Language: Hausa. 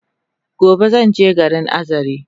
Gobe zanje garin Azare